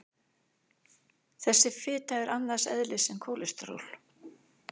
Þessi fita er annars eðlis en kólesteról.